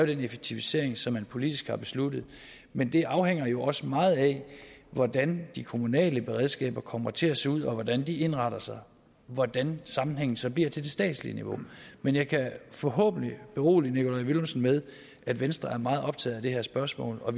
den effektivisering som man politisk har besluttet men det afhænger jo også meget af hvordan de kommunale beredskaber kommer til at se ud hvordan de indretter sig og hvordan sammenhængen så bliver til det statslige niveau men jeg kan forhåbentlig berolige nikolaj villumsen med at venstre er meget optaget af det her spørgsmål og